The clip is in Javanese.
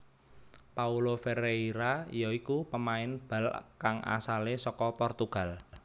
Paulo Ferreira ya iku pemain bal kang asalé saka Portugal